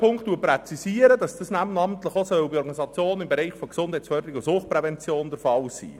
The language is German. Punkt 2 präzisiert, dass dies namentlich auch bei Organisationen im Bereich Gesundheitsfö derung und Suchtprävent on der Fall sein soll.